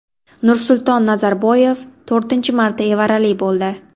Nursulton Nazarboyev to‘rtinchi marta evarali bo‘ldi.